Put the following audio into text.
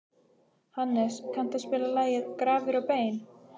Hannes, kanntu að spila lagið „Grafir og bein“?